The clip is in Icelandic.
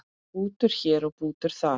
Bútur hér og bútur þar.